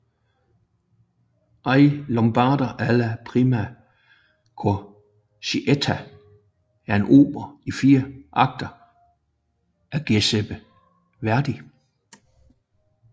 I Lombardi alla prima crociata er en opera i fire akter af Giuseppe Verdi